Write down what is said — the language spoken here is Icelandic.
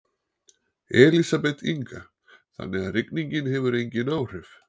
Elísabet Inga: Þannig að rigningin hefur engin áhrif?